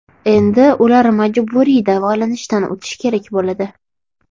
Endi ular majburiy davolanishdan o‘tishi kerak bo‘ladi.